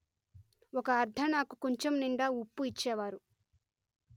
ఒక అర్ధణాకు కుంచం నిండా ఉప్పు ఇచ్చేవారు